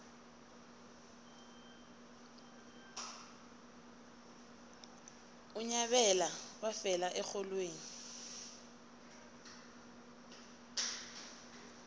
unyabela wafela erholweni